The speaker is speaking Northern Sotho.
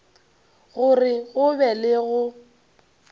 gore go be le go